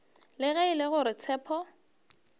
ge e le gore tshepo